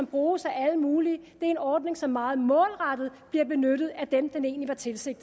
bruges af alle mulige det er en ordning som meget målrettet bliver benyttet af dem den egentlig var tiltænkt